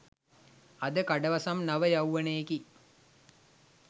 අද කඩවසම් නව යෞවනයෙකි